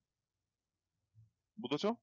বুঝেছো